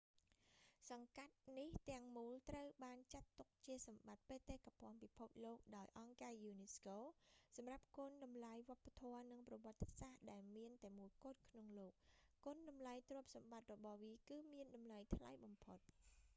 សង្កាត់នេះទាំងមូលត្រូវបានចាត់ទុក្ខជាសម្បត្តិបេតិកភ័ណ្ឌពិភពលោកដោយអង្គការយូនីស្កូ សម្រាប់គុណតម្លៃវប្បធម៌និងប្រវត្តិសាស្រ្តដែលមានតែមួយគត់ក្នុងលោក គុណតម្លៃទ្រព្យសម្បត្តិរបស់វាគឺមានតម្លៃថ្លៃបំផុត